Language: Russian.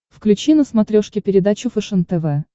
включи на смотрешке передачу фэшен тв